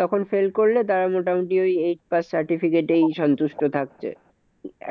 তখন fail করলে তারা মোটামুটি ওই eight pass certificate এই সন্তুষ্ট থাকছে।